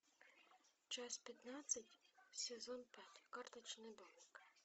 часть пятнадцать сезон пятый карточный домик